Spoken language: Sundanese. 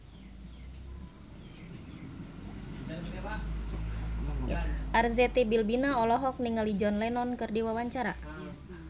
Arzetti Bilbina olohok ningali John Lennon keur diwawancara